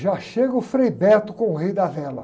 Já chega o Frei com O Rei da Vela.